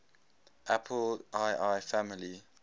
apple ii family